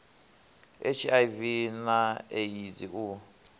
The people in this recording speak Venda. a hiv na eidzi u